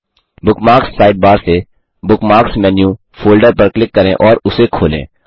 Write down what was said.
bookmarks sidebar से bookmarks menu folder पर click करें और उसे खोलें